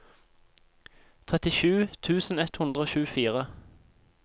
trettisju tusen ett hundre og tjuefire